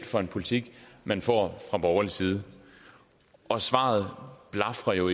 for en politik men får fra borgerlig side og svaret blafrer jo